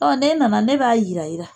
n'e nana ne b'a yira i ra.